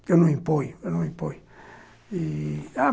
Porque eu não imponho, eu não imponho e...